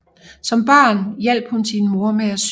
Som barn hjalp hun sin mor med at sy